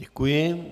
Děkuji.